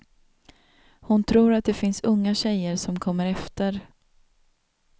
Hon tror att det finns unga tjejer som kommer efter.